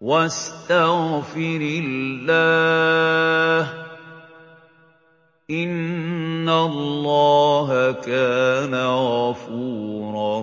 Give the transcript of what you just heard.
وَاسْتَغْفِرِ اللَّهَ ۖ إِنَّ اللَّهَ كَانَ غَفُورًا